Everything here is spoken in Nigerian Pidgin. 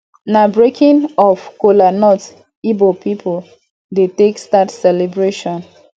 na breaking of cola nut ibo pipu dey take start celebration